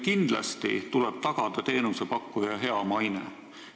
Kindlasti tuleb tagada teenusepakkuja hea maine.